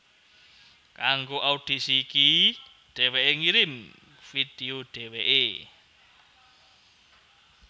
Kanggo audisi iki dhéwéké ngirim video dhéwéké